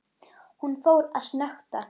Ekkjan sló kólfi í bjöllu.